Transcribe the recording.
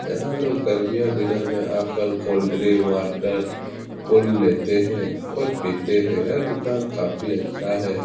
यहाँ लोग गर्मियां दिनों में आकर कोल्डड्रिंक वाटर खोल लेते हैं और पीते हैं यह दुकान काफी अच्छा है।